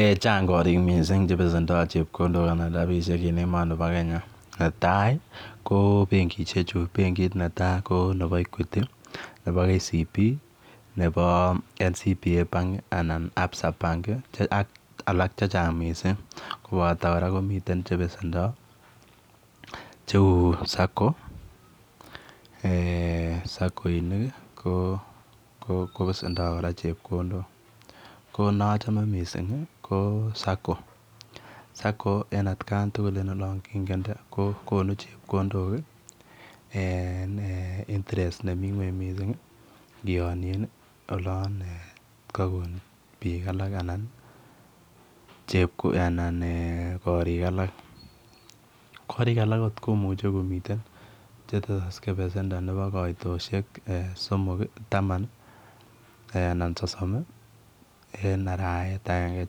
Eeh chaang koriik missing che besendo chepkondook eng emet nibo kenya netai ko benkishek chuu benkiit netai ko nebo [equity] nebo [ Kenya commercial bank] nebo [national bank of Kenya] anan [absa bank] ak alaak che chaang missing kobata kora komiteen che besendo che uu [sacco] eh sakoinik ko besendo kora chepkondook ko ne achame missing ko [Sacco] [Sacco] missing eng olaan kingende konuu chepkondook ii eeh en [interest] nemii kweeny missing ingianien en olaan eeh kabuun biik alaak anan koriig alaak koriig alaak komiteen che tesaksei eng kaitosiek tamaan ii sosom ii eng araweet ageinge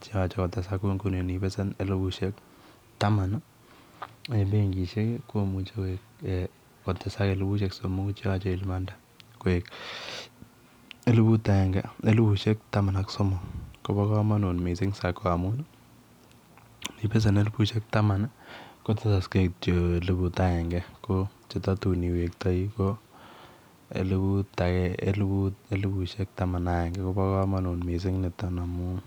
kou Nguni inibesen elibushek tamanii eng benkishek komuchei kotesaak koek elibushek taman ak somok koba kamanut missing [Sacco] amun inibesen elibushek taman ko tesaksei kityoi elibut agenge ko che tatuun elibushek taman ak agenge kobaa kamanuut missing nitoon amuun.